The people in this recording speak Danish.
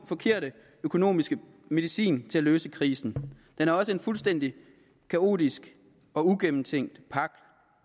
forkerte økonomiske medicin til at løse krisen den er også en fuldstændig kaotisk og ugennemtænkt pagt